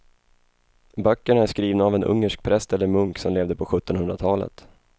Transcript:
Böckerna är skrivna av en ungersk präst eller munk som levde på sjuttonhundratalet.